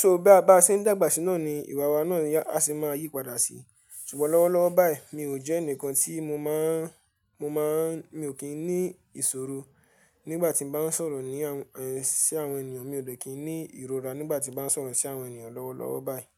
So bí a bá ṣe ń dàgbà síná ni ìwà wa náà ni a sì máa yípadà sí. Ṣùgbọ́n lọ́wọ́lọ́wọ́ báyìí mi ò jẹ́ ẹnìkan tí mo máa ń, mo máa ń, mi ò kí ń ní ìṣòro nígbà tí mo bá ń sọ̀rọ̀ ní, ẹ, sí àwọn ènìyàn. Mi ò dẹ̀ kí ń ní ìrora nígbà tí mo bá ń sọ̀rọ̀ sí àwọn ènìyàn lọ́wọ́lọ́wọ́ báyìí.